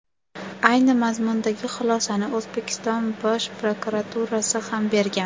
Ayni mazmundagi xulosani O‘zbekiston Bosh prokuraturasi ham bergan.